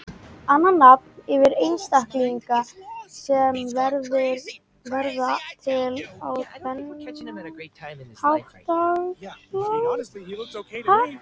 Annað nafn yfir einstaklinga sem verða til á þennan hátt er klónar.